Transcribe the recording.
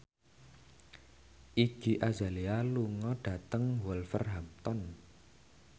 Iggy Azalea lunga dhateng Wolverhampton